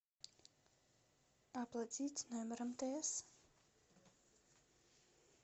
оплатить номер мтс